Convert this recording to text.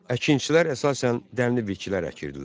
Əkinçilər əsasən dənli bitkilər əkirdilər.